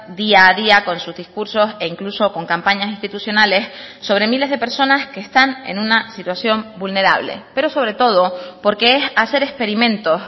día a día con sus discursos e incluso con campañas institucionales sobre miles de personas que están en una situación vulnerable pero sobre todo porque es hacer experimentos